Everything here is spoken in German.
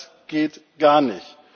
Das geht gar nicht!